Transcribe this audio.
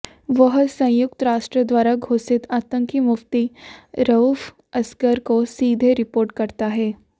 वह संयुक्त राष्ट्र द्वारा घोषित आतंकी मुफ्ती रऊफ असगर को सीधे रिपोर्ट करता है